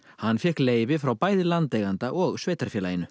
hann fékk leyfi frá bæði landeiganda og sveitarfélaginu